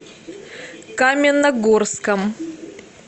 каменногорском